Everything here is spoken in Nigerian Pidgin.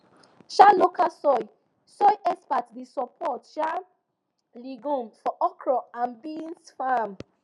um local soil soil experts dey support um legumes for okra and beans farm